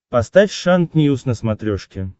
поставь шант ньюс на смотрешке